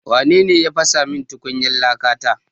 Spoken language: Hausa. Wa nene ya fasa min tukunyar laka ta?